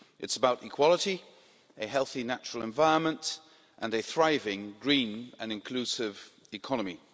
It's about equality, a healthy natural environment and a thriving green and inclusive economy.